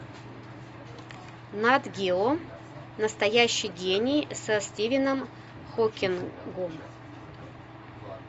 нат гео настоящий гений со стивеном хокингом